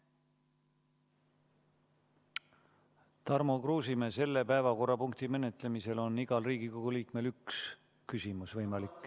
Tarmo Kruusimäe, selle päevakorrapunkti menetlemisel on igal Riigikogu liikmel võimalik esitada üks küsimus.